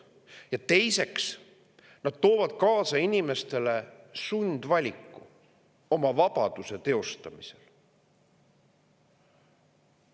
Ja teiseks, nad toovad inimestele kaasa sundvaliku oma vabaduse teostamisel.